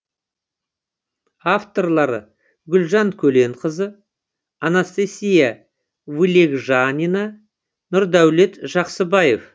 авторлары гүлжан көленқызы анастасия вылегжанина нурдаулет жаксыбаев